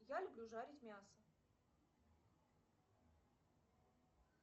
я люблю жарить мясо